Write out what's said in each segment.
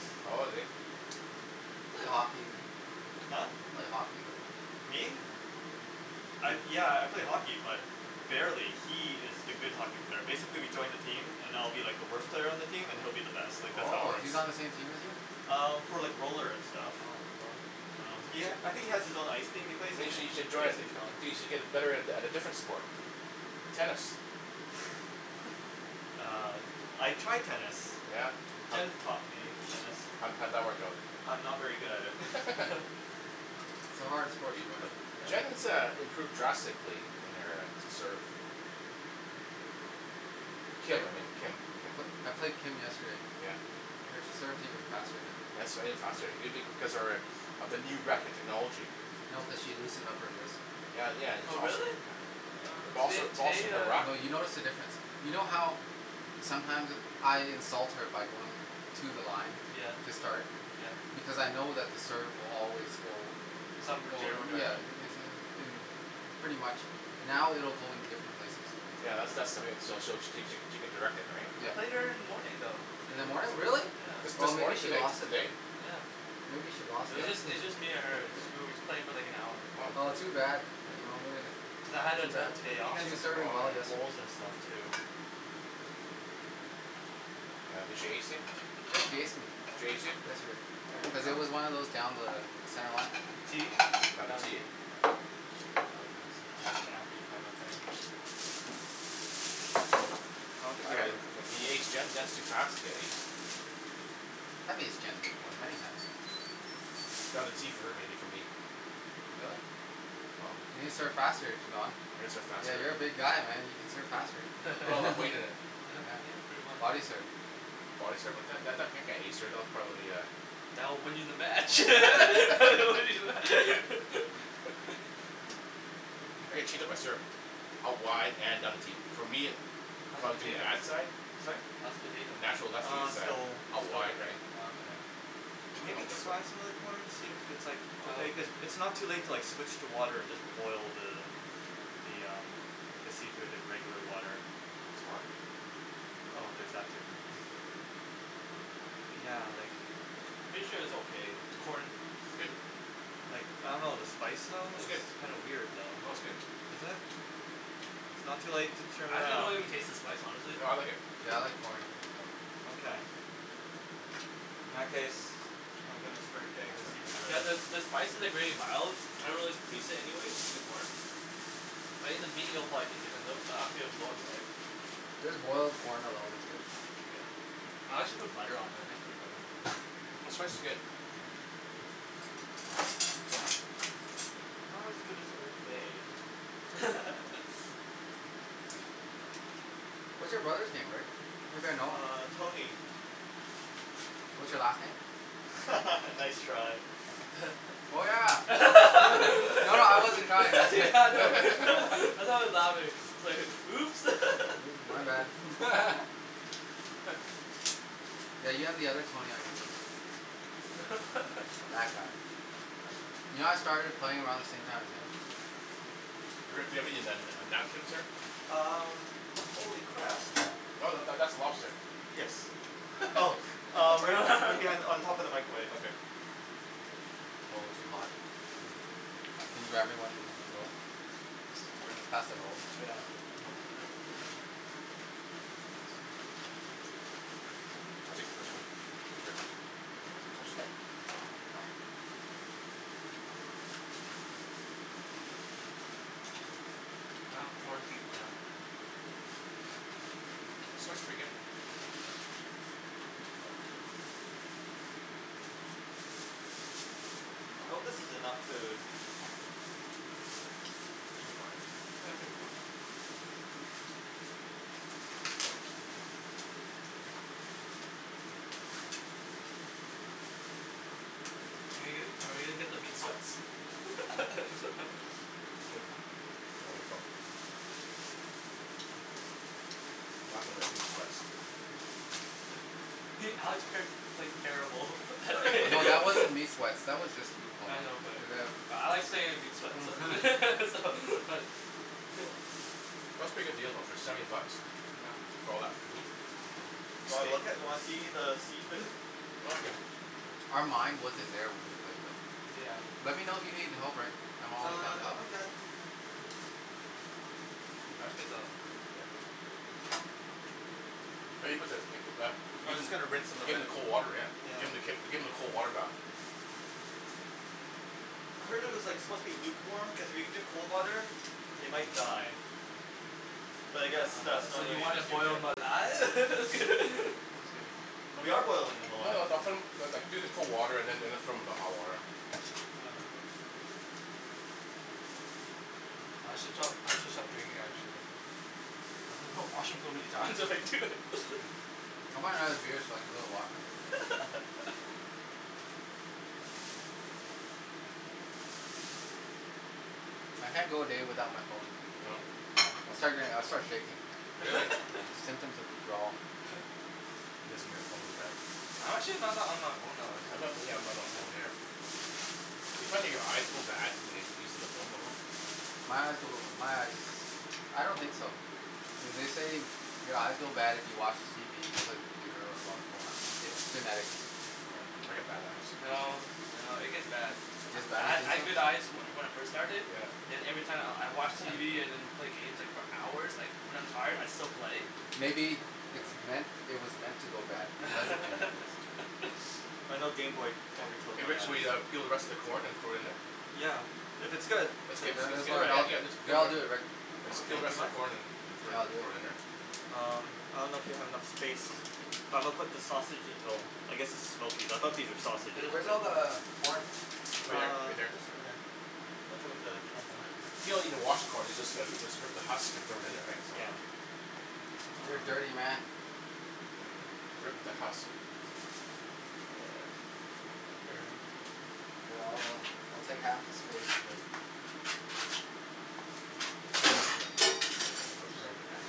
Oh, is he? You play hockey. Huh? You play hockey though. Me? I, yeah, I play hockey but barely, He is the good hockey player. Basically, we joined a team, and I'll be like the worst player on the team and he'll be uh-huh. the best. Like that's how it Oh, works. he's on the same team as you? Um, for like roller and stuff. Oh, bro. Um, he ha- I think he has his own ice team. He plays in you it. should join a, y- y- you should get better at, at a different sport. Tennis. Uh. I tried tennis. Yeah? How'd Jenn taught me tennis. How'd, how'd that work out? I'm not very good at it. It's a hard sport to learn. Jenn has, uh, improved drastically in her, uh, serve. Played, I played, I played Kim yesterday. Yeah? Her serve's even faster now. faster maybe because of her, uh, of the new racket technology. No, cuz she loosened up her wrist. Well, yeah. It's Oh also really? It also, Today, it's also today her uh No, racket. you notice the difference. You know how sometimes I insult her by going to the line, Yeah. to start Yeah. because I know that the serve will always go, Some in well general yeah, direction. is uh. Pretty much. Now it will go in different places. Yeah, that's, that's so she'll, she cou- she she can direct it, right? I Yeah. played her in the morning though. In the morning? Really? This, Yeah. Oh, this maybe morning? she Today, t- lost it today? then. Yeah. Maybe she lost It was it. just, it was just me and her. Just we were just playing for, like, an hour. Oh. Oh too bad. You know. Yeah I had Too to bad. the day off. She was some serving Wow. well yesterday. bowls and stuff too. Oh, did she ace you? Yeah, she No. aced me. She ace you? Yesterday. Here you Cuz Oh. go. it was one of those down the center line. T? Oh no. Down the Down T. T. Was an kinda thing. I don't think you I are got it. letting He aced Jenn? Jenn's too fast to get aced. Have aced Jenn before. Many times. Got a T for her maybe for me. Really? Oh. You can serve faster Don? I can serve faster. Yeah. You're a big guy, man. You can serve faster. Put all that weight in it. Yeah, Yeah. pretty much. Body serve Body serve on Jenn that that that can't ace her, that'll probably a That will win you the match. I can cheat on my serve. a wide and for me, How's the from doing the potato? ad side? Sorry? How's the potato? Natural left field Uh, side. still, Out still wide cooking. right? Oh okay. Okay, now Maybe this one? try some of the corn, and see if it's, like, okay, cuz it's not too late to, like, switch to water and just boil the, the um, the seafood in regular water. Oh, it's hot. Oh, there's that too. Yeah, like Pretty sure it's okay. Corn. Like, I don't know. The spice, though, It's good. it's kinda weird, though. No., it's good. Is it? It's not too late to turn I actually don't around. even taste the spice honestly. No, I like it. Yeah, I like corn. Okay. In that case, I'm gonna start getting the seafood You ready. guys uh, the spice is like really mild. I don't really taste it anyways in the corn. But in the meat you'll probably taste it cuz it'll, it'll, right? Just boiled corn alone is good. Yeah. I actually put butter on it. Like some butter in there. The spice is good. Not as good as Old Bay. What's your brother's name, Rick? Maybe I know him. Uh, Tony. What's your last name? Nice try. Oh yeah. No. No, no, I wasn't trying Yeah, I know. I know it's louder. It's like, "Oops." My bad. Yeah, you have the other Tony on your team. That guy. You know I started playing around the same time as him? Rick, do you have any nan- uh napkins here? Um. Holy crap. No, that, that's a lobster. Yes. Oh uh, right b- right behind, on top of the microwave. Okay. Oh, too hot Can you grab me one Will you pass the roll? Yeah. I'll take the first one. Sure. Touch that. I have corn teeth now. The spice is pretty good. I hope this is enough food. Should be fine. Yeah should be fine. Are we gonna, are we gonna get the meat sweats? Good. Control yourself. some of them meat sweats. Alex qu- quite- terrible at No, that wasn't meat sweats. That was just food coma. I know but, but I like saying meat sweats so so but Yeah. That's a pretty good deal though, for seventy bucks. Yeah. For all that food? Yeah. Do you want Steak. look at, you wanna see the seafood? Okay. Our mind wasn't there when we played though. Yeah. Let me know if you need help, Rick. I'm always down Uh, to no, help I'm you. good. Can you pass me the Yeah. Maybe put the give them, I was just gonna rinse 'em a give bit. them the cold water, yeah. Yeah. Give them the k- give them the cold water bath. I heard it was, like, supposed to be lukewarm because if you do cold water, they might die. But I guess that's So not you really an wanna issue boil here. 'em alive? We are boilding them No, alive. no, no, put 'em, no, like, do the cold water and then, then throw them in the hot water. Yeah. I should stop, I should stop drinking actually. I washroom so many times already too. I want another beer so I can go to the washroom. I can't go a day without my phone. No? No. I'll start doing, I start shaking. Really? Yeah. Symptoms of withdrawal. You guys and your phones, man. I'm actually not that on my phone all I'm the time. not really, yeah, I'm not on my phone either. Do you find that your eyes go bad when you're using your phone that long? My eyes go, my eyes. I don't think so. Yeah, they say your eyes go bad if you watch TV, you play the computer, or you go on your phone. It's genetics. Oh, I get bad eyes. No, no. It gets bad. It I, gets I bad? You ha- I think so? had good eyes from, when I first started, Yeah. then every time I'll, I watch TV and then play games, like, for hours, like, when I'm tired I still play. Maybe, it's No. meant, it was meant to go bad because of genetics. I know gameboy Hey, probably killed hey my Rick, so eyes. we uh peel the rest of the corn and throw it in there? Yeah. If it's good, No, no, that's then good. all right. I get- no, I'll do it Rick. Just Okay. peel the Do rest you of mind? the corn and, and throw it, Here, I'll do it. throw it in there. Um. I don't know if you have enough space. It's fine. But I'm gonna put the sausage- well, I guess its smokies, I thought these were Hey, sausages, where's all but the corn? Over there, Uh, right there. just in there. Watch out for the camera. You don't even wash the corn. You just go, you just rip the husk and throw it in there, right? So. Yeah. You're a Uh. dirty man. Rip the husk. Here, I'll, I'll take half the space, Rick. Sorry. You okay?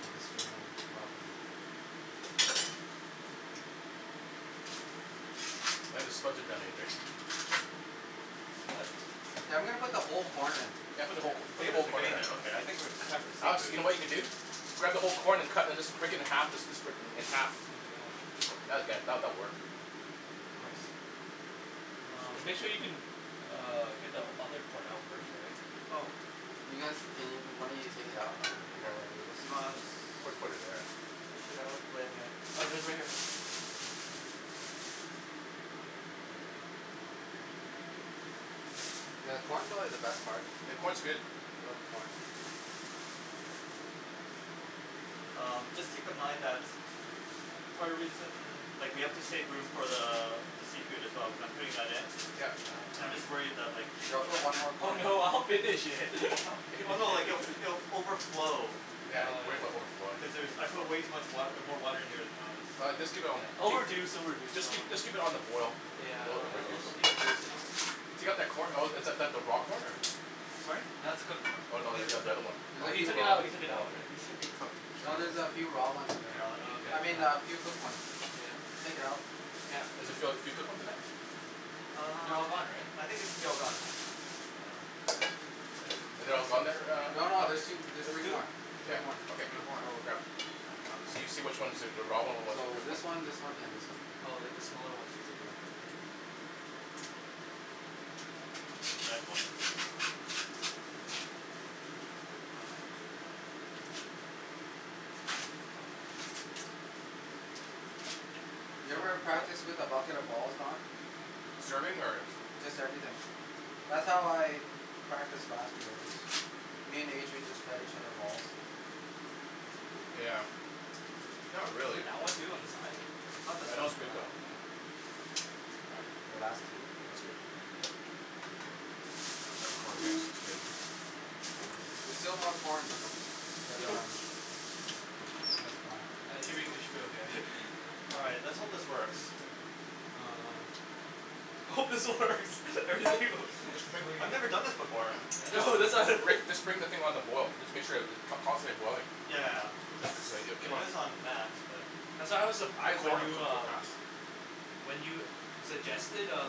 I'm destroying property. I think the spuds are done What? Hey, I'm gonna put the whole corn in. Yeah, put the whole co- put the whole Potatoes are corn in. getting there, okay. I think we're, it's time for the Alex, seafood. you know what you can do? Grab the whole corn and cut and just break it in half and just sp- split it in half. Oh yeah. That'll get, that, that'll work. Nice. And Um. make sure you can uh get the other corn out first, right? Oh. You guys, can y- one of you take it out while I do this? Put, put it there. Fish it out with Oh right here. Yeah, the corn's probably the best part. The corn's good. I love the corn. Um, just keep in mind that Part of the reason, like we have to save room for the, the seafood as well cuz I'm putting that in. Yeah. Yeah, I'm just worried that like Yo, I'll put one more Oh corn in. no, I'll finish it. I'll finish Oh no. Like if, it. it'll f- overflow. Yeah, he's worried about overflowing. Cuz there's, I put way too much wa- uh, more water in here than I was All right, just keep it on the It'll b- reduce, keep, it'll reduce. just Don't worry. keep, just keep it on the boil. Yeah. It'll, It'll, will it'll, reduce. it'll, it'll keep reducing. Oh. If you got that corn, oh is that, that the raw corn or? Sorry? That's a cooked corn. Oh no, It is the oth- the other one. cooked. Oh. No, he took it out. He took it Oh out. okay. It should be cooked. No, there's a few raw ones in there. Here, I'll let Oh okay, you I mean, a cool. few cooked ones. Yeah. Take it out. Yeah. Does it feel like few cooked ones in there? They're Um, all gone, right? I think it should be all gone. Are they all gone there, No, uh no. Alex? There's two, there's three There's two? more. Yeah, Three more. okay, There's more. So grab. So you see which ones are the, the raw one or what's the So, cooked this one. one, this one, and this one. Oh like, the smaller one basically. The red one. You ever practice with a bucket of balls, Don? Serving? Or? Just everything. That's how I practiced last year. I just, me and Adrian just fed each other balls. Yeah. Not really. That one too? On the side? Oh, that was good though. Here, last two. That's good. Grab a corn, guys. It's good. There's still more corn. But Mhm. um I'm sure it's fine. I think should be, it should be okay. All right. Let's hope this works. Um. I hope this works. Just bring I've never done this before. I know. that's why Rick, just bring the thing on the boil. Just make sure that it, con- constantly boiling. Yeah. It's, keep it on is on max, but That's why I was The surprised corn when will you cook real uh fast. When you suggested, uh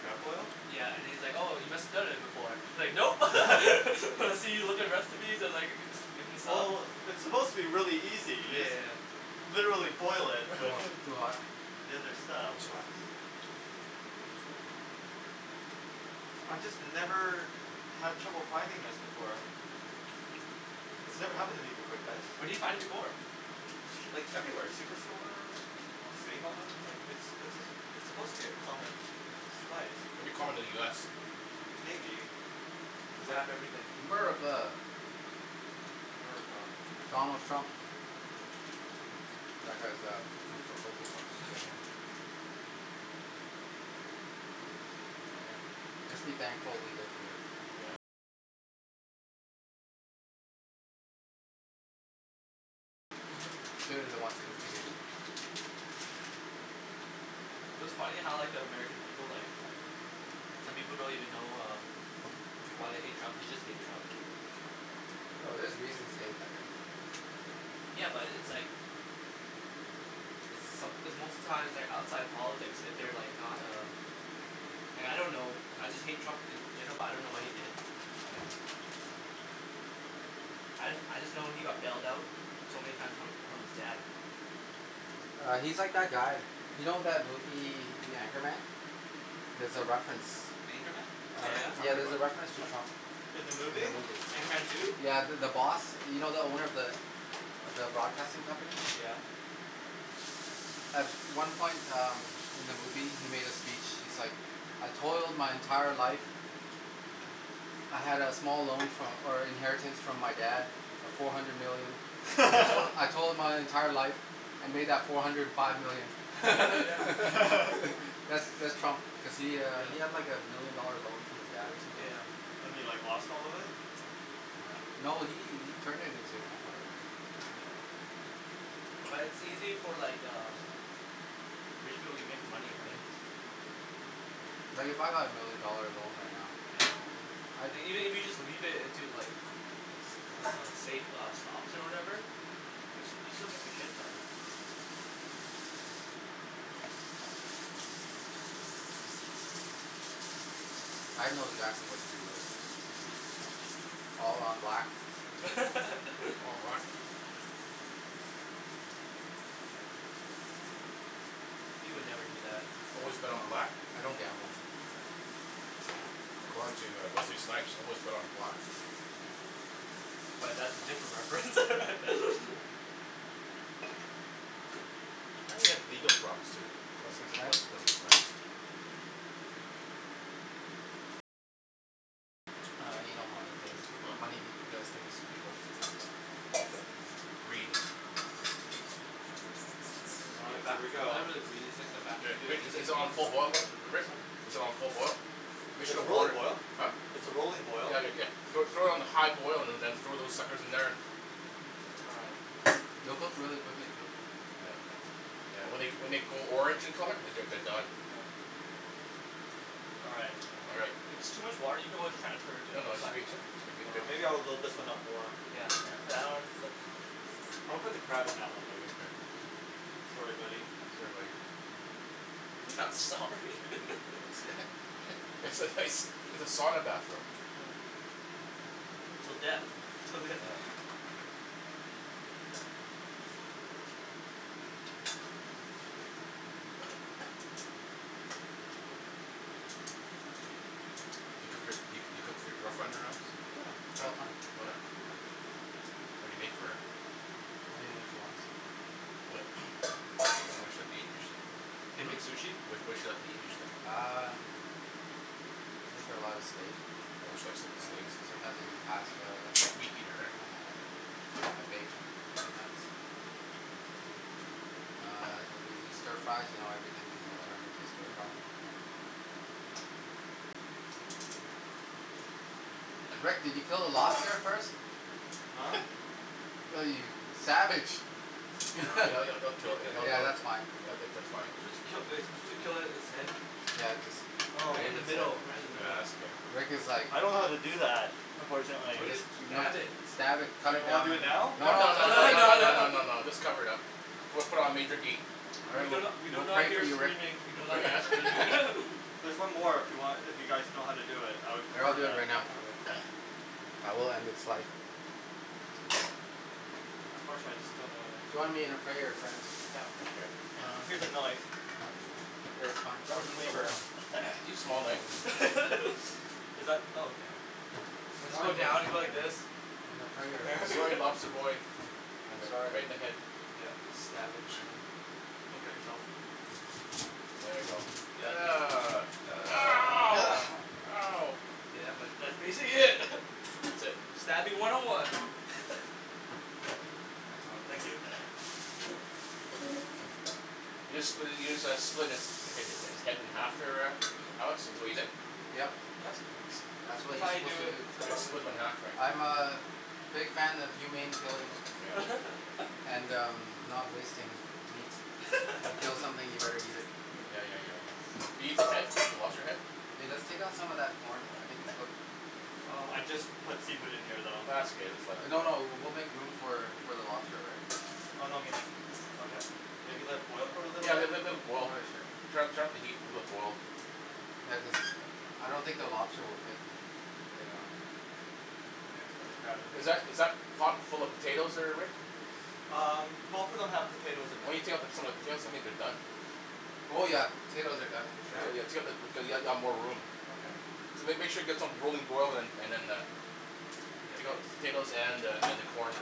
Crab boil? Yeah, and he's like, "Oh you must have done it before." He's like, "Nope." I see you with the recipes. I was, like, in the Sub. Well, it's supposed to be really easy. You Yeah, yeah, just yeah. literally boil it with, Wow, too hot. the other stuff. It's hot. I just never had trouble finding this before. This never happened to me before, guys. Where did you find it before? Like everywhere. Superstore? save-on? Like, it's, it's a, it's supposed to be a common spice. Maybe common in the US. Maybe. Cuz they But have everything. America. America. Donald Trump. That guy's uh, coo coo for Coco Puffs. Mhm. Just be thankful we live here. Clearly they want to instigate it. It was funny how like the American people, like, some people don't even know uh why they hate Trump. They just hate Trump. No, there's reasons to hate that guy. Yeah, but it's like It's some- it's most of the time it's, like, outside politics if they're, like, not uh Like I don't know, I just hate Trump and they, but I don't know what he did, right? I, I just know he got bailed out so many time from, from his dad. Uh he's like that guy. You know that movie, The Anchorman? There's a reference. Anchorman? Uh Oh yeah. I yeah. heard There's about a it. reference to Trump. In the In the movie? movie. Anchorman two? Yeah, the, the boss. You know the owner of the, of the broadcasting company? Yeah. At one point um, in the movie, he made a speech. He's like, "I told my entire life. I had a small loan fro- or inheritance from my dad of four hundred million. I told, I told my entire life and made that four hundred five million." That's, that's Trump cuz he uh he had like a million dollar loan from his dad or something. Yeah. And he, like, lost all of it? Yeah. No, he, he turned it into an empire though. Mhm. Like it's easy for, like, uh rich people to make money, right? Mhm. Like if I got a million dollar loan right now Yeah. I'd Like, even if you just leave it into like s- uh safe uh stocks or whatever, you s- you still make a shit ton. I'd know exactly what to do with it. Mhm. All on black. All on black. He would never do that. Always No. bet on black? I don't gamble. According to uh, Wesley Snipes, always bet on black. But that's a different reference. I heard he had legal problems too. Wesley W- Snipes? Wesley Snipes. Uh, you know money things, money Hm? does things to people. Greed. Yeah. All right. Here we go. Good. Rick, is it, is it on full boil, Li- Rick? Is it on full boil? Make sure the It's roller water- boil. huh? It's a rolling boil. Yeah, Rick, yeah. Throw, throw it on high boil and then throw those suckers in there. All right. They'll cook really quickly too. Yeah. Yeah, when they g- when they go orange in colour, they're, they're, they're done. All right. All right. If it's too much water, you can always transfer it to, No, no, it should right? be, it should, it should be Yeah, good. maybe I'll load this one up more. Yeah. Yeah, Yeah. that one looks I'll put the crab in that one, maybe. Okay. Sorry, buddy. Sorry, buddy. You're not sorry. It's a nice, it's a sauna bathroom. Till death. Till death. Yeah. Do you cook your, do you, do you cook for your girlfriend at her house? Yeah, all the time. Oh yeah. Yeah. What do you make for her? Anything she wants. What? What, what does she like to eat usually? Can you eat sushi? What, what does she like to eat usually? Um. I make her a lot of steak. Oh she likes, like, Yeah. steaks? Sometimes I do pasta. Meat eater, eh? Um. I bake. Sometimes. Hm. Uh and we do stir fries, you know everything can be Oh turned into a yeah. stir fry. Rick, did you kill the lobster first? Huh? Ew, you, you savage. Yeah. Ye- Yeah, it'll, it'll, it'll kill, it'll kill yeah, it that's fine. Yeah, that's, that's fine. Supposed to kill uh are you suppose to kill it, its head? Yeah, Oh. Right in the just middle, right in the middle. Rick was like I don't know how to do that, Or unfortunately. Or just, just you know, stab it. stab it. Do Cut you it wanna down. do it now? No, No, no, no, no, no, too no, No, late. no, no, no, no. no, no, just cover it up. Put it, put it on major heat. All We right. do We'll, not, we do we'll not pray for hear you Rick. screaming, we do We'll not pray, yeah hear screaming. There's one more if you want, if you guys know how to do it. I would Yeah, I'll prefer do it that, right now. actually. Yeah, we'll end its life. Unfortunately, I just don't know Join me in a prayer, friends. Yeah. Okay. Uh, here's a knife. Okay, fine. I'll use Is that? Oh okay. Or just go Join me now down, you go like this. in a prayer, friends. Sorry, lobster boy. I'm Right sorry. in the head. Yeah. Stab him. Don't cut yourself. There you go. Ugh. Ow. Ow. Yeah, but that's basically it. That's it. Stabbing one oh one. Oh, thank you. You just split it, you just uh split its, hi- hi- his head in half there, uh Alex? Is what you did? Yep. Yes. That's what That's you're how you supposed do to it, do. that's how You you do split it. him in half, Oh. right? I'm a big fan of humane killing. And um, not wasting meats. You kill something, you better eat it. Yeah, yeah, yeah, yeah. Do you eat the head? The lobster head? Hey, let's take out some of that corn. I think it's cooked. Oh, I just put seafood in here, though. Ah, it's okay. Just let it No, boil. no. We'll make room for, for the lobster, right? Oh no, I mean like, okay. Maybe let it boil for a little Yeah, bit? let- let- let it boil. Okay, sure. Turn up, turn up the heat, let it boil. Yeah, cuz uh, I don't think the lobster will fit. Yeah. just put the crab in here, Is that, is that too. pot full of potatoes there, Rick? Um, both of them have Why potatoes in them. don't you take out the, some of the potatoes? I think they're done. Oh yeah. Potatoes are done for sure. Yeah? Yeah, yeah, take out the, cuz you'll ha- you'll have more room. Okay. So make, make sure you get some rolling boil and, and then uh, take out the potatoes and uh, and the corn.